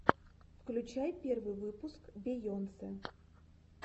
включай первый выпуск бейонсе